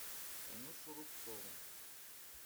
танюшу рубцову